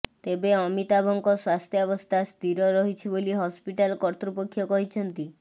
ତେବେ ଅମିତାଭଙ୍କ ସ୍ୱାସ୍ଥ୍ୟାବସ୍ଥା ସ୍ଥିର ରହିଛି ବୋଲି ହସ୍ପିଟାଲ୍ କର୍ତ୍ତୃପକ୍ଷ କହିଛନ୍ତି